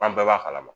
An bɛɛ b'a kalama